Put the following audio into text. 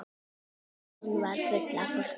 Stöðin var full af fólki.